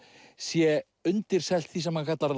sé undirselt því sem hann kallar